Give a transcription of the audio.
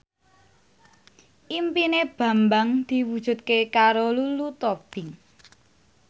impine Bambang diwujudke karo Lulu Tobing